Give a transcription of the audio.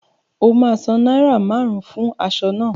O ma san náírà márùn-ún fún aṣọ náà